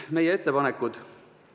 Meie ettepanekud.